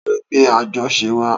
Ta lo gbé àjọṣe wa?